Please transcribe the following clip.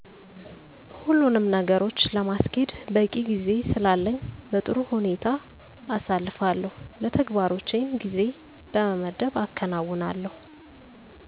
ሁሉኑም ነገሮች ለማስኬድ በቂ ጊዜ ስላለኝ በጥሩ ሁኔታ አሳልፋለሁ። ለተግባሮችም ጊዜ በመመደብ አከናዉናለሁ።